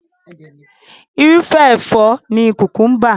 Irúfẹ́ ẹ̀fọ́ ni kùkúḿbà.